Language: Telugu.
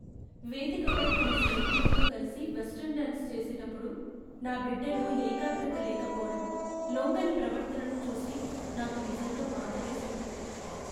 వేదికపై తన స్నేహితులతో కలిసి వెస్టర్న్ డాన్స్ చేసేటప్పుడు నా బిడ్డలో ఏకాగ్రత లేకపోవడం, లొంగని ప్రవర్తనను చూసి నాకు నిజంగా బాధ వేసింది.